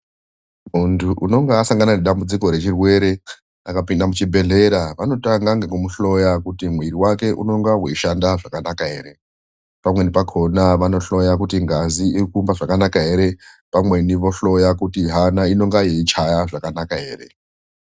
Muntu unonga asangana nedambudziko rechirwere akapinda muchibhedhlera. Vanotanga kumuhloya kuti mwiri wake unonga weishanda zvakanaka ere. Pamweni pakhona vanohloya kuti ngazi riri kuhamba zvakanaka ere. Pamweni vohloya kuona kuti hana inonga yeichaya zvakanaka ere?